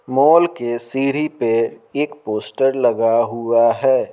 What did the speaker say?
Mall के सीढ़ी पे एक पोस्टर लगा हुआ है।